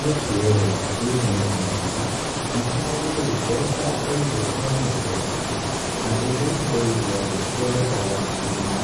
Gĩkĩ rĩ gĩkĩ nĩ kĩng'ori, na kĩngo'ri rĩ, nĩ mbeca, ndaigua kĩng'ori nĩ mbeca, na mbeca ici ndaigua rĩ, cithondekagwo na cuma,